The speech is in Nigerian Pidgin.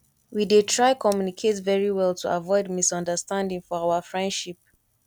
we dey try communicate very well to avoid misunderstanding for our friendship